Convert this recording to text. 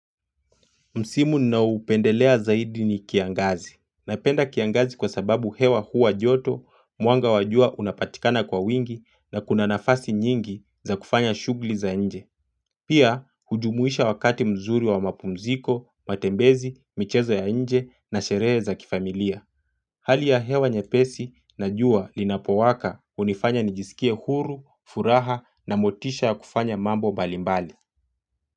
Msimu ninao upendelea zaidi ni kiangazi. Napenda kiangazi kwa sababu hewa huwa joto, mwanga wa jua unapatikana kwa wingi na kuna nafasi nyingi za kufanya shughuli za nje. Pia hujumuisha wakati mzuri wa mapumziko, matembezi, michezo ya nje na sherehe za kifamilia. Hali ya hewa nyepesi na jua linapowaka hunifanya nijisikie huru, furaha na motisha ya kufanya mambo mbalimbali.